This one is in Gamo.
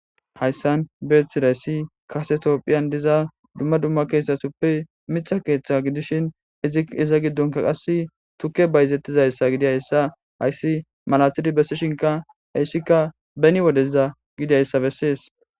Hayssan beeththidayssi kase toophphiyan diza dumma dumma keeththathuppe miththa keeththaa gidishin iza giddonkka qassi tukkee bayzeththizayssa gidizayssa hayssi malaathidi bessishinkka heyssikka beni wodezza gidayssa bessees.